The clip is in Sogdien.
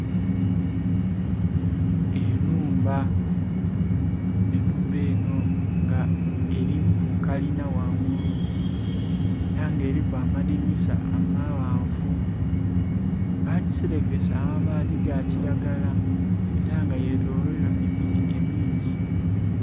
Enhumba, enhumba eno nga eriku kalinha ghangulu era nga eriku amadhinisa amaghanvu, bajiserekesa amabaati gakiragala era nga yetoloirwa emiti emingi.